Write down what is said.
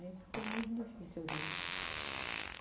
Aí ficou muito difícil o rio.